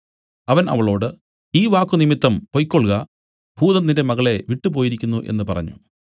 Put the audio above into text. അവൻ അവളോട് ഈ വാക്കുനിമിത്തം പൊയ്ക്കൊൾക ഭൂതം നിന്റെ മകളെ വിട്ടു പോയിരിക്കുന്നു എന്നു പറഞ്ഞു